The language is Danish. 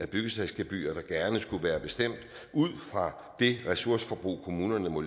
byggesagsgebyrer der gerne skulle være bestemt ud fra det ressourceforbrug kommunerne må